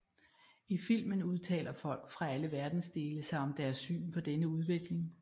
I filmen udtaler folk fra alle verdensdele sig om deres syn på denne udvikling